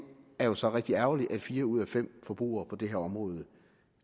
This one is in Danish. er jo så rigtig ærgerligt at fire ud af fem forbrugere på det her område